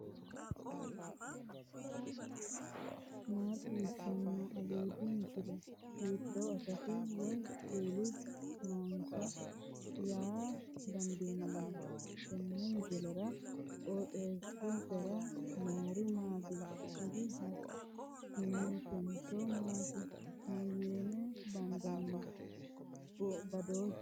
maa xawissanno aliidi misile ? hiitto akati woy kuuli noose yaa dandiinanni tenne misilera? qooxeessisera noori maati ? kuri hakimetenso maati mayinni bandanni badooshshu uduunni mittoho